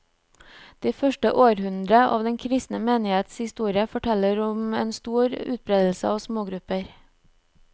De første århundre av den kristne menighets historie forteller om en stor utbredelse av smågrupper.